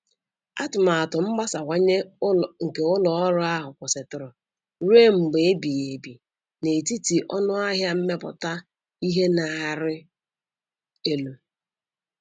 Atụmatụ mgbasawanye nke ụlọ ọrụ ahụ kwụsịtụrụ ruo mgbe ebighi ebi n'etiti ọnụ ahịa mmepụta ihe na-arị elu.